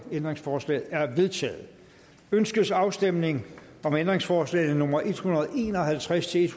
ændringsforslaget er vedtaget ønskes afstemning om ændringsforslag nummer en hundrede og en og halvtreds til